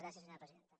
gràcies presidenta